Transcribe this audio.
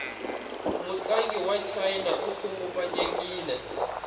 mutlangi wachina ikhunguvanyekile